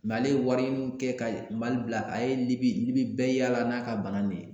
ale ye wari mun kɛ ka Mali bila ka ye ni Libi bɛɛ yaala n'a ka bana de ye